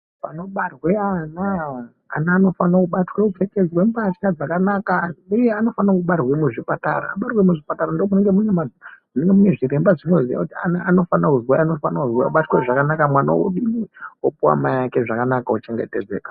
Panobarwe ana, ana anofana kubatwa kupfekedzwe mbahla dzakanaka uye anofana kubarwa muzvipatara, abarwe muzvipatara ndoo munenge mune zviremba zvinoziye kuti ana anofana kuzwai anofana kuzwai obatwe zvakanaka mwana odini opuwa mai ake zvakanaka ochengetedzeka.